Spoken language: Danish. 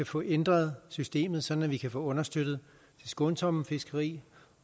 få ændret systemet så man kan understøtte det skånsomme fiskeri